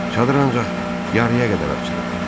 Şadır ancaq yarıya qədər açılıb.